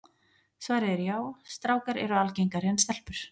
Svarið er já, strákar eru algengari en stelpur.